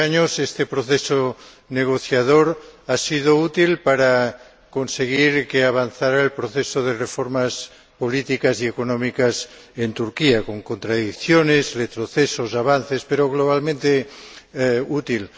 Durante años este proceso negociador ha sido útil para conseguir que avanzara el proceso de reformas políticas y económicas en Turquía, con contradicciones, retrocesos, avances, pero globalmente útil.